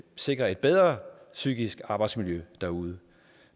sikre et bedre psykisk arbejdsmiljø derude